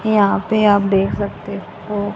यहां पे आप देख सकते हो।